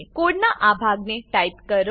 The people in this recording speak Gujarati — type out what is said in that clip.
કોડનાં આ ભાગને ટાઈપ કરો